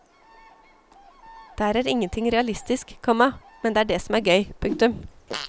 Der er ingenting realistisk, komma men det er det som er gøy. punktum